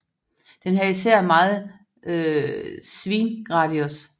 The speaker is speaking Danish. Den havde især meget bedre svingradius